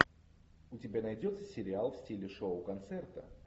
у тебя найдется сериал в стиле шоу концерта